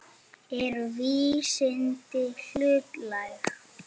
Eru vísindin hlutlæg?